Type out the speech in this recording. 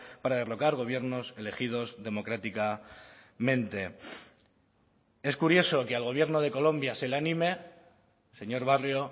para derrocar gobiernos elegidos democráticamente es curioso que al gobierno de colombia se le anime señor barrio